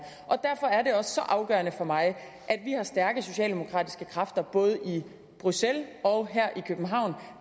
og derfor er det også så afgørende for mig at vi har stærke socialdemokratiske kræfter både i bruxelles og her i københavn